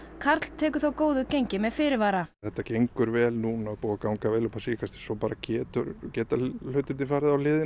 karl tekur þó góðu gengi með fyrirvara það gengur vel núna og er búið að ganga vel upp á síðkastið en svo geta geta hlutirnir farið á hliðina